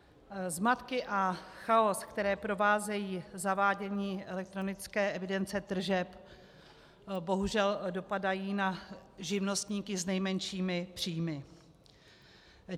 Zmatky a chaos, které provázejí zavádění elektronické evidence tržeb, bohužel dopadají na živnostníky s nejmenšími příjmy.